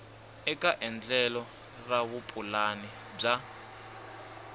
eka endlelo ra vupulani bya